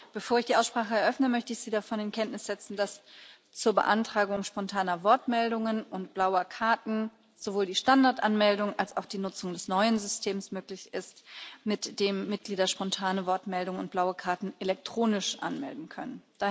Bevor ich die Aussprache eröffne, möchte ich Sie davon in Kenntnis setzen, dass zur Beantragung spontaner Wortmeldungen und blauer Karten sowohl die Standardanmeldung als auch die Nutzung des neuen Systems möglich ist, mit dem Mitglieder spontane Wortmeldungen und blaue Karten elektronisch anmelden können.